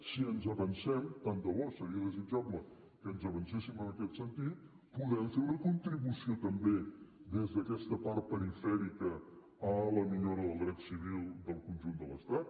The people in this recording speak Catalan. si ens avancem tant de bo seria desitjable que ens avancéssim en aquest sentit podem fer una contribució també des d’aquesta part perifèrica a la millora del dret civil del conjunt de l’estat